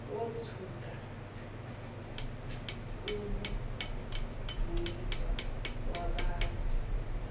wothuka uvuyiswa wabanda